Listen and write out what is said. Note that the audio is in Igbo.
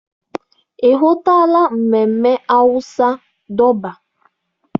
Ị hụtụla ememme awụsa Dọbaa?